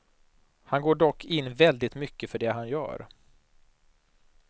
Han går dock in väldigt mycket för det han gör.